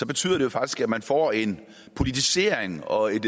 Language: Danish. betyder det faktisk at man får en politisering og et